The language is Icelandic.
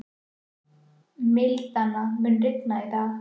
Milda, mun rigna í dag?